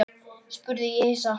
spurði ég hissa.